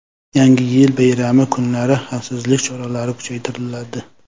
Yangi yil bayrami kunlari xavfsizlik choralari kuchaytiriladi.